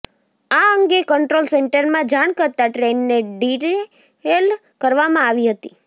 આ અંગે કંટ્રોલ સેન્ટરમાં જાણ કરતા ટ્રેનને ડીરેલ કરવામાં આવી હતી